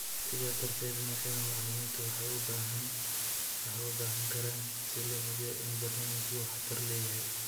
Sidaa darteed, noocyada macalimiintu waxay u baahnaan karaan si loo hubiyo in barnaamijku waxtar leeyahay.